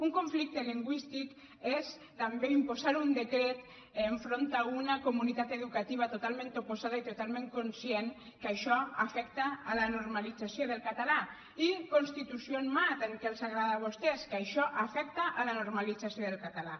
un conflicte lingüístic és també imposar un decret enfront d’una comunitat educativa totalment oposada i totalment conscient que això afecta la normalització del català i constitució en mà tant que els agrada a vostès que això afecta la normalització del català